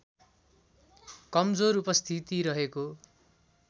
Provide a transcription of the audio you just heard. कमजोर उपस्थिति रहेको